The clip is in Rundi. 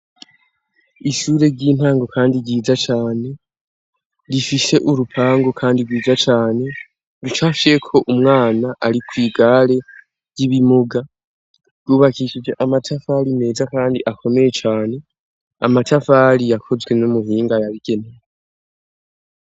Ishure ry'intango kandi ryiza cane rifise urupango kandi gwiza cane rucapfye ko umwana ari kwi gare ry'ibimuga rwubakijwe amatafari meza kandi akomeye cane amatafari yakozwe n'umuhinga yabigenewe